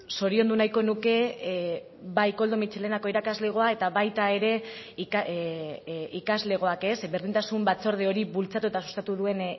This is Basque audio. zoriondu nahiko nuke bai koldo mitxelenako irakaslegoa eta baita ere ikaslegoak berdintasun batzorde hori bultzatu eta sustatu duen